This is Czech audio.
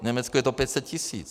V Německu je to 500 tisíc.